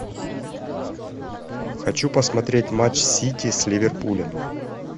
хочу посмотреть матч сити с ливерпулем